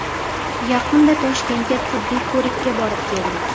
Yaqinda Toshkentga tibbiy ko‘rikka borib keldik.